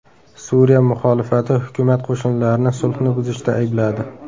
Suriya muxolifati hukumat qo‘shinlarini sulhni buzishda aybladi.